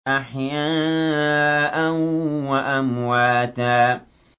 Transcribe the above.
أَحْيَاءً وَأَمْوَاتًا